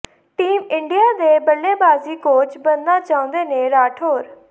team India ਦੇ ਬੱਲੇਬਾਜ਼ੀ coach ਬਣਨਾ ਚਾਹੁੰਦੇ ਨੇ ਰਾਠੌਰ